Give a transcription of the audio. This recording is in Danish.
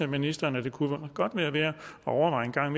ministeren om det kunne være værd at overveje en gang